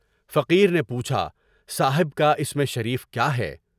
فقیر نے یہ پوچھا، صاحب کا اس میں شریف کیا ہے۔